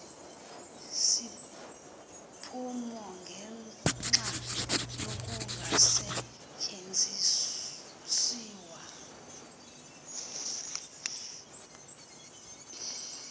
iziphumo ngenxa yokungasetyenziswa